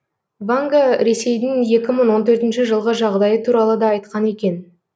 ванга ресейдің екі мың он төртінші жылғы жағдайы туралы да айтқан екен